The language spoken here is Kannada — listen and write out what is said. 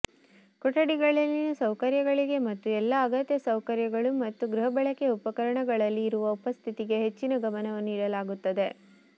ಕೊಠಡಿಗಳಲ್ಲಿನ ಸೌಕರ್ಯಗಳಿಗೆ ಮತ್ತು ಎಲ್ಲಾ ಅಗತ್ಯ ಸೌಕರ್ಯಗಳು ಮತ್ತು ಗೃಹಬಳಕೆಯ ಉಪಕರಣಗಳಲ್ಲಿ ಇರುವ ಉಪಸ್ಥಿತಿಗೆ ಹೆಚ್ಚಿನ ಗಮನವನ್ನು ನೀಡಲಾಗುತ್ತದೆ